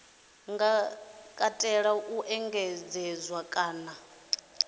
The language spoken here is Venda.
nga katela u engedzedzwa kana